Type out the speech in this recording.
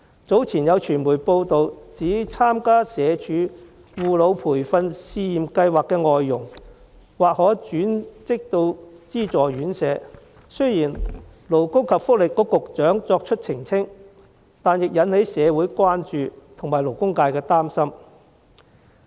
早前有傳媒報道，指參加社會福利署外傭護老培訓試驗計劃的外傭，或可轉職資助院舍，雖然勞工及福利局局長作出澄清，但仍引起社會關注和勞工界的擔心。